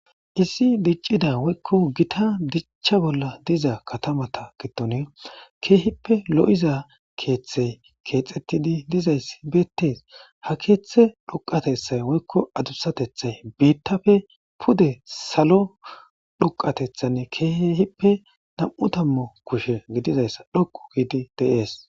issi diccida woykko gita dichcha bolla diza katamata gidon keehippe lo7iza keeththe keexettidi dizayssi beettees ha keeththe dhuqatethay woykko adussatethay biittafe pude salo dhuqatethanne keehippe nam7u tammu kushe gididayssa dhoqu giidi de7ees